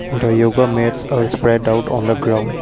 the yoga mats are spread out on the ground.